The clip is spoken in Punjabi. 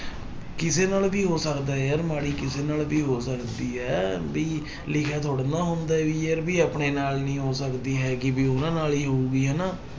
ਕਿਸੇ ਨਾਲ ਵੀ ਹੋ ਸਕਦਾ ਹੈ ਯਾਰ ਮਾੜੀ ਕਿਸੇ ਨਾਲ ਵੀ ਹੋ ਸਕਦੀ ਹੈ ਵੀ ਲਿਖਿਆ ਥੋੜ੍ਹਾ ਨਾ ਹੁੰਦਾ ਹੈ ਵੀ ਯਾਰ ਵੀ ਆਪਣੇ ਨਾਲ ਨੀ ਹੋ ਸਕਦੀ ਹੈਗੀ ਵੀ ਉਹਨਾਂ ਨਾਲ ਹੀ ਹੋਊਗੀ ਹਨਾ।